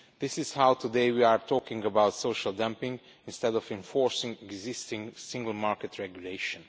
is how, today, we are talking about social dumping, instead of enforcing existing single market regulation.